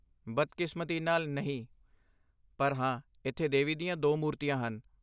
ਬਦਕਿਸਮਤੀ ਨਾਲ, ਨਹੀਂ, ਪਰ ਹਾਂ, ਇੱਥੇ ਦੇਵੀ ਦੀਆਂ ਦੋ ਮੂਰਤੀਆਂ ਹਨ।